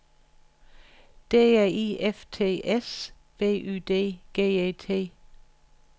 D R I F T S B U D G E T